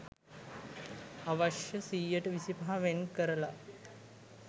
අවශ්‍ය සීයට විසිපහ වෙන් කරල